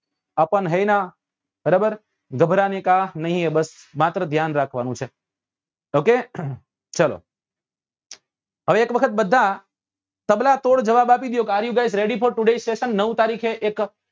અપન હૈ નાં બરાબર ગભારને નાં ક નહિ હૈ બસ માત્ર ધ્યાન રાખવા નું છે okay ચાલો હવે એક વખત બધા તબલા તોડ જવાબ આપી દયો કે નવ તારીખે એક